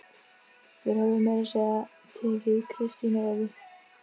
Þeir höfðu meira að segja tekið Kristínu Evu!